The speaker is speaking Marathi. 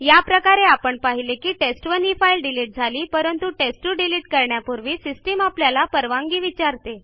अशा प्रकारे आपण पाहिले की टेस्ट1 ही फाईल डिलिट झाली परंतु टेस्ट2 डिलिट करण्यापूर्वी सिस्टीम आपल्याला परवानगी विचारते